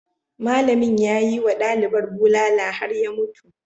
Malamin ya yi wa dalibar bulala har ya mutu.